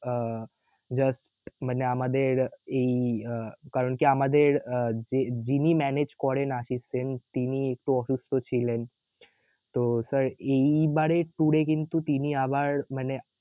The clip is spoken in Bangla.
আহ just মানে আমাদের এই আহ কারণ কি আমাদের আহ যে~ যিনি manage করেন আশিস সেন তিনি একটু অসুস্থ ছিলেন তো sir এই বারের tour এ কিন্তু আবার মানে